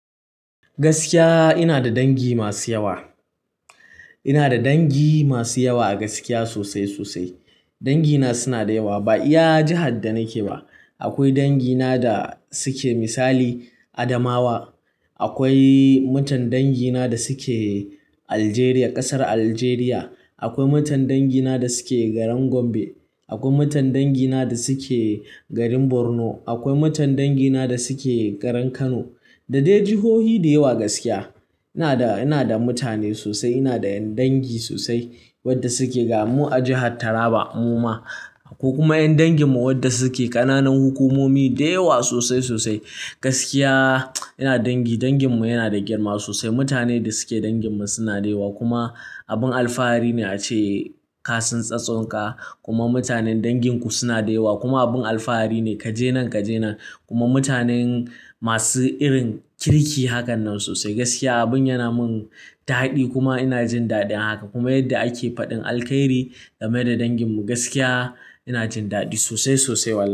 Gaskiya ina da dangi masu yawa. Ina da dangi masu yawa a gaskiya sosai sosai. Dangina suna da yawa ba iya jihar da nake ba. Akwai dangina da suke misali Adamawa. Akwai mutan dangina da suke Aljeriya, ƙasar Aljeriya. Akwai mutan dangina da suke garin Gombe. Akwai mutan dangina da suke garin Borno. Akwai mutan dangina da suke garin Kano. Da dai jihohi da yawa gaskiya. Ina da, ina da mutane sosai. Ina da ƴan dangi sosai wadda suke ga mu a jihar Taraba mu ma ko kuma ƴan danginmu wadda suke ƙananan hukumomi da yawa sosai sosai. Gaskiya ina dangi. Danginmu yana da girma sosai. Mutanen da suke danginmu suna da yawa kuma abin alfahari ne ace kasin tsatsonka kuma mutanen danginku suna da yawa kuma abin alfahari ne kaje nan kaje nan kuma mutanen masu irin kirki hakan nan sosai. Gaskiya abin yana mun ta'addi kuma ina jin daɗin haka kuma yadda ake faɗin alkhairi game da danginmu gaskiya ina jin daɗi sosai sosai walahi.